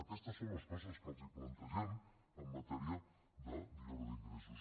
aquestes són les coses que els plantegem en matèria de millora d’ingressos